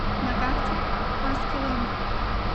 на карте хаскилэнд